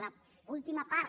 l’última part